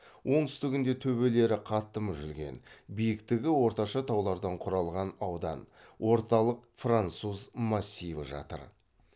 оңтүстігінде төбелері қатты мүжілген биіктігі орташа таулардан құралған аудан орталық француз массиві жатыр